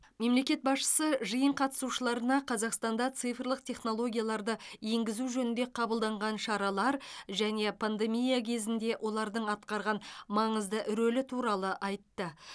мемлекет басшысы жиын қатысушыларына қазақстанда цифрлық технологияларды енгізу жөнінде қабылданған шаралар және пандемия кезінде олардың атқарған маңызды рөлі туралы айтты